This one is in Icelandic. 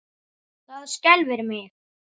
Það skelfir mig.